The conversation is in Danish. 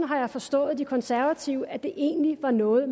har forstået de konservative sådan at det egentlig var noget